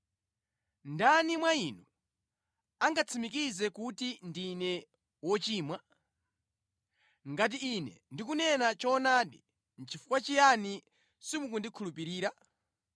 Ndani mwa inu angatsimikize kuti ndine wochimwa? Ngati Ine ndikunena choonadi, nʼchifukwa chiyani simukundikhulupirira?